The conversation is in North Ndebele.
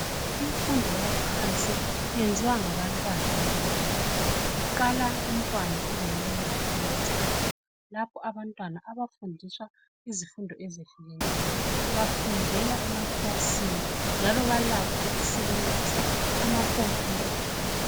Imfundo yaphansi yenziwa ngabantwana abancane. Kuqala umntwana eleminyaka emithathu lapho abantwana abafundiswa izifundo ezehlukeneyo. Bafundela emakilasini njalo balakho ukusebenzisa amakhompuyitha.